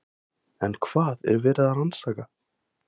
En hvað er verið að rannsaka?